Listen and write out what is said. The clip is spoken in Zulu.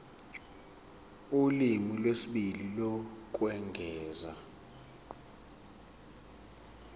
ulimi lwesibili lokwengeza